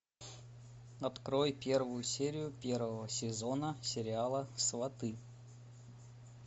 открой первую серию первого сезона сериала сваты